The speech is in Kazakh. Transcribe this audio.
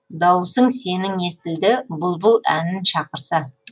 дауысың сенің естілді бұлбұл әнін шақырса